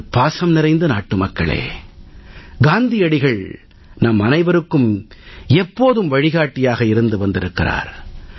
எனது பாசம் நிறைந்த நாட்டுமக்களே காந்தியடிகள் நம்மனைவருக்கும் எப்போதும் வழிகாட்டியாக இருந்து வருகிறார்